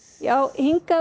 hingað